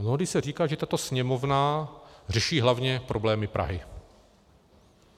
Mnohdy se říká, že tato Sněmovna řeší hlavně problémy Prahy.